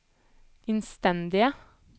innstendige